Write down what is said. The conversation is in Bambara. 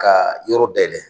Ka yɔrɔ dayɛlɛ.